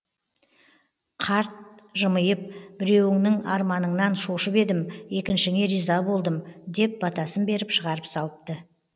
қарт жымиып біреуіңнің арманыңнан шошып едім екіншіңе риза болдым деп батасын беріп шығарып салыпты